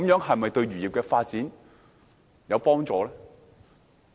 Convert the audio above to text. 這樣對漁業發展是否有幫助呢？